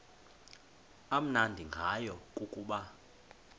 amnandi ngayo kukuba